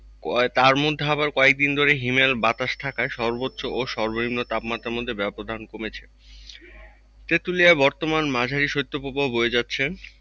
তার মধ্যে আবার কয়েকদিন ধরে হিমেল বাতাস থাকায় সর্বোচ্চ ও সর্বনিম্ন তাপমাত্রার মধ্যে ব্যবধান কমেছে। তেঁতুলিয়ায় বর্তমান মাঝারি শৈত্যপ্রবাহ বয়ে যাচ্ছে।